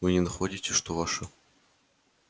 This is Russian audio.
вы не находите что ваше